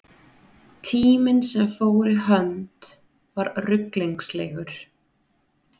Tíminn sem fór í hönd var ruglingslegur.